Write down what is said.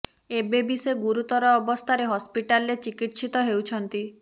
ଏବେ ବି ସେ ଗୁରୁତର ଅବସ୍ଥାରେ ହସ୍ପିଟାଲରେ ଚିକିତ୍ସିତ ହେଉଛନ୍ତି